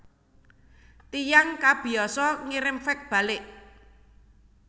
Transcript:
Tiyang kabiasa ngirim fax balik